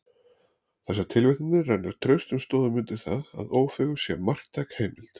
Þessar tilvitnanir renna traustum stoðum undir það, að Ófeigur sé marktæk heimild.